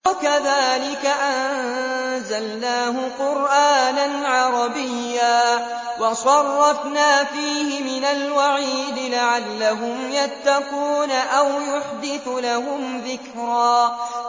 وَكَذَٰلِكَ أَنزَلْنَاهُ قُرْآنًا عَرَبِيًّا وَصَرَّفْنَا فِيهِ مِنَ الْوَعِيدِ لَعَلَّهُمْ يَتَّقُونَ أَوْ يُحْدِثُ لَهُمْ ذِكْرًا